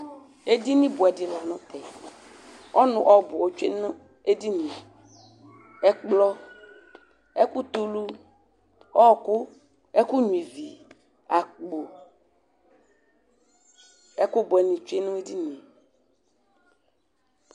Ɛdini bʋɛdi lanʋtɛ ɔnʋ ɔbʋ otsuenʋ edinie Ɛkplɔ, ɛkʋ tɛulu, ɔkʋ, ɛkʋnyua ivi, akpo ɛkʋ bʋɛni tsue nʋ edinie